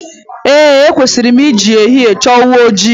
N'ezie ekwesịrị m ị ji ehihie chọọ ewu ojii.